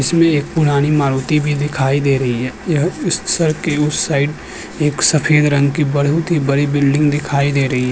उसमे एक पुरानी मारुति भी दिखाई दे रही है। यह उस सड़क के उस साइड एक सफेद रंग की बड़ी बिल्डिंग दिखाई दे रही है।